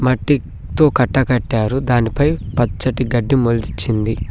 కట్టితో కట్టకట్టారు దానిపై పచ్చని గడ్డి మొలిచింది.